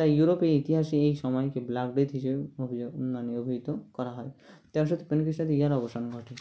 তাই ইউরোপের ইতিহাসে এই সময় black death হিসাবে মানে অভিহিত করা হয় তেরশ তিপ্পান্ন খৃষ্টাব্দে ইহার অবসান ঘটে